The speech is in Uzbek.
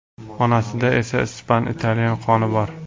Onasida esa ispan, italyan qoni bor.